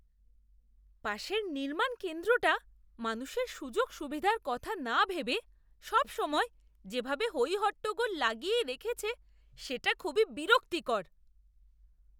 পাশের নির্মাণ কেন্দ্রটা মানুষের সুযোগ সুবিধার কথা না ভেবে সবসময় যেভাবে হই হট্টগোল লাগিয়েই রেখেছে সেটা খুবই বিরক্তিকর।